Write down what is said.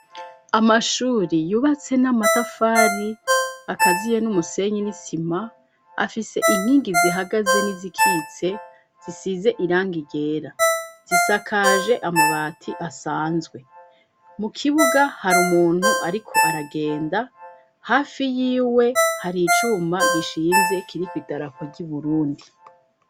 Amashuri yubatse n'amatafari akaziye n'umusenyi n'isima, afise inkingi zihagaze n'izikitse zisize irangi ryera, zisakaje amabati asanzwe. Mu kibuga hari umuntu ariko aragenda, hafi yiwe hari icuma gishinze kiriko idarapo ry'Uburundi.